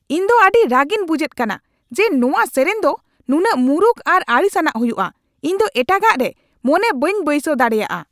ᱤᱧ ᱫᱚ ᱟᱹᱰᱤ ᱨᱟᱹᱜᱤᱧ ᱵᱩᱡᱷᱮᱫ ᱠᱟᱱᱟ ᱡᱮ ᱱᱚᱣᱟ ᱥᱮᱨᱮᱧ ᱫᱚ ᱱᱩᱱᱟᱹᱜ ᱢᱩᱨᱩᱠ ᱟᱨ ᱟᱲᱤᱥᱟᱱᱟᱜ ᱦᱩᱭᱩᱜᱼᱟ ᱾ ᱤᱧ ᱫᱚ ᱮᱴᱟᱜᱟᱜ ᱨᱮ ᱢᱚᱱᱮ ᱵᱟᱹᱧ ᱵᱟᱹᱭᱥᱟᱹᱣ ᱫᱟᱲᱮᱭᱟᱜᱼᱟ ᱾